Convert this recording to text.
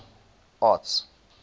arts